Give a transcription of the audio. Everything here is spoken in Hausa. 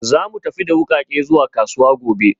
Za mu tafi da wukake zuwa kasuwa gobe